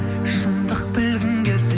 шындық білгің келсе